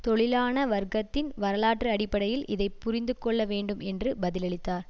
தொழிலாள வர்க்கத்தின் வரலாற்று அடிப்படையில் இதை புரிந்துகொள்ள வேண்டும் என்று பதிலளித்தார்